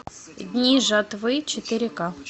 дни жатвы четыре ка